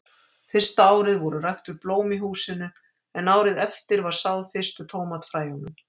Fyrsta árið voru ræktuð blóm í húsinu, en árið eftir var sáð fyrstu tómatafræjunum.